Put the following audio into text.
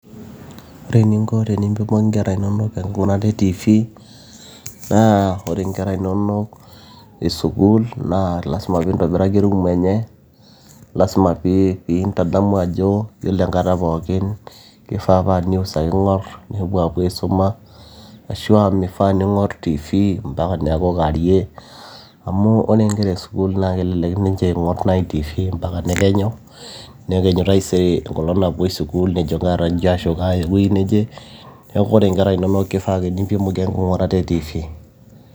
Ore eninko tenimpimoki inkera inonok enking'urata e tv[csnaa ore inkera inonok e school naa lazima peeintabiraki erumu enye lazima pee intadamu ajo yiolo enkata pookin keifaa paa news ake eing'or nepuo apuo aisuma ashua meifaa neing'or tv mpaka neeku kaarie amu ore inkera e school naa kelelek ninche eng'or naaji tv mpaka nekenyu nekenyu taisere ekenyu epuoi school nejo kaata njio ashu kaaya ewueji neje neeku ore inkera inono keifaa ake nimpimoki enking'urata e tv.